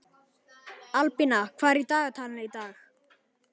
Albína, hvað er í dagatalinu í dag?